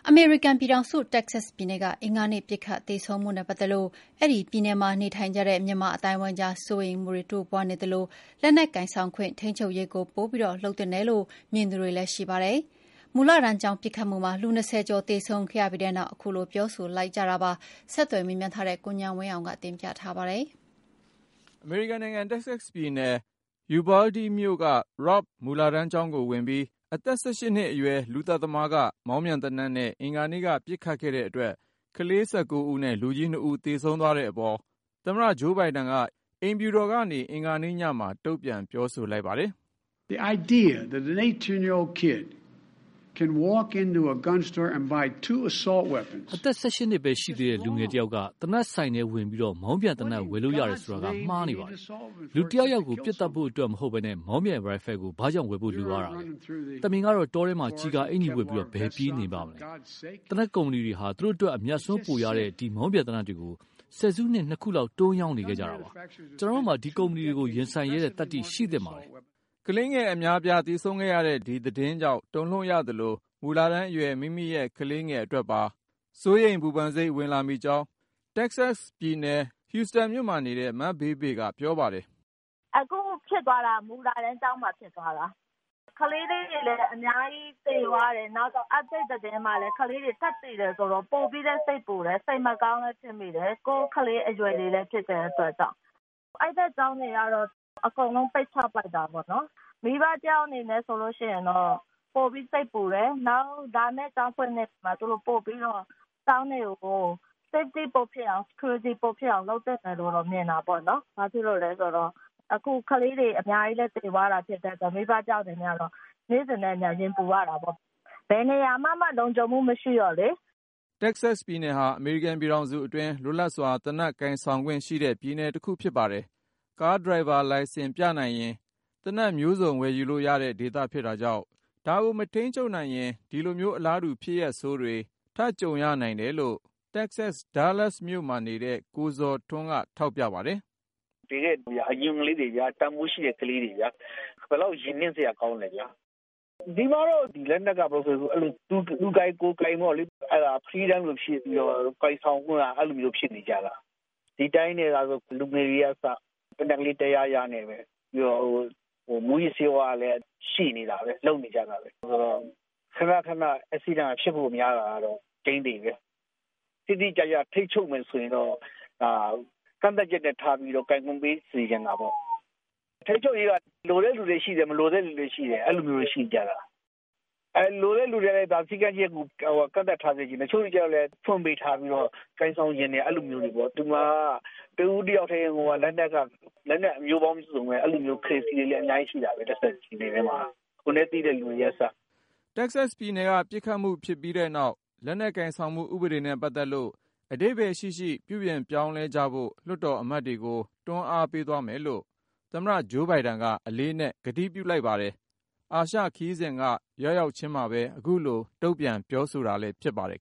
အမေရိကန်ပြည်ထောင်စု တက္ကဆက်ပြည်နယ်က အင်္ဂါနေ့ ပစ်ခတ် သေဆုံးမှုနဲ့ ပတ်သက်လို့ အဲဒီပြည်နယ်မှာ နေထိုင်ကြတဲ့ မြန်မာအသိုင်းအဝိုင်းကြား စိုးရိမ်မှုတွေ တိုးပွားနေသလို၊ လက်နက်ကိုင်ဆောင်ခွင့် ထိန်းချုပ်ရေးကို ပိုပြီး လုပ်သင့်တယ်လို့ မြင်သူတွေလည်း ရှိပါတယ်။ မူလတန်းကျောင်း ပစ်ခတ်မှုမှာ လူ(၂၀)ကျော် သေဆုံးခဲ့ရပြီးနောက် ခုလို ပြောဆိုလိုက်ကြတာပါ။ ဆက်သွယ် မေးမြန်းထားတဲ့ ကိုဉာဏ်ဝင်းအောင်က တင်ပြမှာပါ။ အမေရိကန်နိုင်ငံ တက္ကဆက်ပြည်နယ် ယူဗားလ်ဒီးမြို့(Uvalde)က Robb မူလတန်းကျောင်းကိုဝင်ပြီး အသက် ၁၈ နှစ်အရွယ် လူသတ်သမားက မောင်းပြန်သေနတ်နဲ့ အင်္ဂါနေ့က ပစ်ခတ်ခဲ့တဲ့အတွက် ကလေး ၁၉ ဦးနဲ့ လူကြီး ၂ ဦး သေဆုံးသွားတဲ့အပေါ် သမ္မတ ဂျိုးဘိုင်ဒန်က အိမ်ဖြူတော်ကနေ အင်္ဂါနေ့ညမှာ တုံ့ပြန် ပြောဆိုလိုက် ပါတယ်။ “အသက် ၁၈ နှစ်ဘဲရှိသေးတဲ့ လူငယ်တယောက်က သေနတ်ဆိုင်တဲ့ဝင်ပြီး မောင်းပြန်သေနတ် ဝယ်လို့ရတယ်ဆိုတာဟာ မှားယွင်းနေပါတယ်။ လူတယောက်ယောက်ကို ပစ်သတ်ဖို့အတွက်မဟုတ်ဘဲ မောင်းပြန်ရိုင်ဖယ်ကို ဘာကြောင့် ဝယ်ဖို့လိုရတာလဲ။ သမင်ကတော့ တောထဲမှာ ကျည်ကာအင်္ကျီဝတ်ပြီး ဘယ်ပြေးနေပါ့မလဲ။ သေနတ်ကုမ္ပဏီတွေဟာ သူတို့အတွက် အမြတ်အစွန်းပိုရတဲ့ ဒီမောင်းပြန်သေနတ်တွေကို ဆယ်စုနှစ် ၂ ခုလောက် တွန်းရောင်းနေခဲ့ကြတာပါ။ ကျနော်တို့မှာ ဒီကုမ္ပဏီတွေကို ရင်ဆိုင်ရဲတဲ့သတ္တိ ရှိသင့်ပါတယ်။” ကလေးငယ် အများအပြား သေဆုံးခဲ့ရတဲ့ ဒီသတင်းကြောင့် တုန်လှုပ်ရသလို၊ မူလတန်းအရွယ် မိမိရဲ့ ကလေးငယ်အတွက်ပါ စိုးရိမ်ပူပန်စိတ် ဝင်လာမိကြောင်း တက္ကဆက်ပြည်နယ် Houston မြို့နေ မဘေးဘေ က ပြောပါတယ်။ " အခု ဖြစ်သွားတာက မူလတန်းကျောင်းမှာ ဖြစ်သွားတာ ၊ ကလေးလေးတွေလည်း အများကြီး သေသွားတယ်။ နောက်ထပ် သတင်းတွေမှာလည်း ကလေးတွေ ထပ်သေတာဆိုတော့ ပိုပြီးလည်း စိတ်ပူတယ် စိတ်မကောင်းလည်း ဖြစ်မိတယ်၊ ကိုယ့်ကလေး အရွယ်လည်း ဖြစ်တာဆိုတော့။ အဲဒီဖက် ကျောင်းတွေကတော့ အကုန်လုံး ပိတ်ချလိုက်ပြီ။ မိဘ တယောက်အနေနဲ့ ဆိုလို့ရှိရင်တော့ ပိုပြီး စိတ်ပူတယ်၊ နောက် လာမယ့် ကျောင်းဖွင့်ချိန်ကျရင် ကျောင်းတွေကို သူတို့အနေနဲ့ ပိုပြီးတော့ လုံခြုံမှုရှိအောင် ပိုလုပ်သင့်တယ်လို့တော့ မြင်တာပေါ့ ။ ဘာလို့လည်းဆိုတော့ အခုက ကလေးတွေ အများကြီး သေသွားတာဆိုတော့ မိဘတယောက် အနေနဲ့ကတော့ နေ့စဉ်နဲ့အမျှ ရင်ပူရတာပေါ့။ ဘယ်နေရာမှာမှ လုံခြုံမှု မရှိတော့လေ။" တက္ကဆက်ပြည်နယ်ဟာ အမေရိကန်ပြည်ထောင်စုအတွင်း လွတ်လပ်စွာ သေနတ်ကိုင်ဆောင်ခွင့်ရှိတဲ့ ပြည်နယ်တခု ဖြစ်ပါတယ်။ ကားဒရိုင်ဘာ လိုင်စင်ပြနိုင်ရင် သေနတ်မျိုးစုံ ဝယ်ယူလို့ရတဲ့ဒေသ ဖြစ်တာကြောင့် ဒါကို မထိန်းချုပ်နိုင်ရင် ဒီလိုမျိုး အလားတူ ဖြစ်ရပ်ဆိုးတွေ ထပ်ကြုံရနိုင်တယ်လို့ Dallas မြို့က ကိုဇော်ထွန်းက ထောက်ပြပါတယ်။ " သေတဲ့လူတွေက အရုပ်လေးတွေလိုပဲ ၊ တန်ဖိုးရှိတဲ့ ကလေးတွေဗျာ ဘယ်လောက် ရင်နင့်စရာ ကောင်းလဲ။ ဒီပြည်နယ်မှာတော့ လက်နက်က သူကိုင်ကိုယ်ကိုင် ပေါ့လေ၊ အဲဒါ Freedom လို ဖြစ်နေတာဆိုတော့ ကိုင်ဆောင်ခွင့်က အဲလိုကို ဖြစ်နေတာ။ ဒီအတိုင်းသာဆို ဒီက လူငယ်တွေကအစ သေနတ်ကလေး တယားယားနဲ့ပဲ။ ပြီးတော့ မူးယစ်ဆေးဝါးတွေကလည်း ရနေတာပဲ လုပ်နေကြတာပဲ ဆိုတော့ ခနခန ပစ်ခတ်မှုဖြစ်ဖို့ များတာကတော့ သေချာတယ်။ တိတိကျကျ ထိန်းချုပ်မယ်ဆိုရင်တော့ ကန့်သတ်ချက်ထားပြီးမှ ကိုင်ဆောင်ခွင့် ပေးသင့်တာပေါ့။ လက်နက် ထိန်းချုပ်ရေးက လိုလားတဲ့လူတွေ ရှိသလို၊ မလိုလားတဲ့ သူတွေလည်း ရှိတယ်။ လိုတဲ့လူတွေကတော့ စည်းကမ်းချက်တွေ ထားစေချင်တာပေါ့။ တချို့တွေ ကျတော့လည်း ဖွင့်ပေးထားပြီးတော့ ကိုင်ဆောင်ချင်တယ် အဲလိုမျိုးတွေပေ့ါ။ ဒီမှာက တဦးတယောက်ထဲမှာကို လက်နက်က လက်နက်ပေါင်း မျိုးစုံ ဝယ်ကိုင်နေကြတာ။ အဲလိုမျိုးပဲ လက်နက် ကြိုက်နှစ်သက်တဲ့ crazy တွေလည်း အများကြီး ရှိကြတယ် ဒီ တက္ကဆက်ပြည်နယ်ထဲမှာ။ ကိုယ်နဲ့သိတဲ့ လူတွေက အစပေါ့။ " တက္ကဆက်ပြည်နယ်က ပစ်ခတ်မှုဖြစ်ခဲ့ပြီးနောက် လက်နက်ကိုင်ဆောင်မှု ဥပဒေနဲ့ပတ်သက်လို့ အဓိပ္ပါယ်ရှိရှိ ပြုပြင်ပြောင်းလဲကြဖို့ လွှတ်တော် အမတ်တွေကို တွန်းအားပေးသွားမယ်လို့ သမ္မတ ဂျိုးဘိုင်ဒန်က အလေးအနက် ကတိပြုလိုက်ပါတယ်။ အာရှခရီးစဉ်က ရောက်ရောက်ခြင်းမှာ ခုလို တုံ့ပြန်လိုက်တာလည်း ဖြစ်ပါတယ်